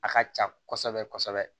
A ka ca kɔsɔbɛ kɔsɔɔbɛ